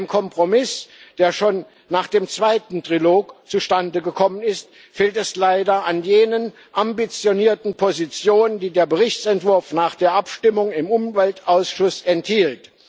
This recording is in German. Dem Kompromiss, der schon nach dem zweiten Trilog zustande gekommen ist, fehlt es leider an jenen ambitionierten Positionen, die der Berichtsentwurf nach der Abstimmung im Umweltausschuss enthielt.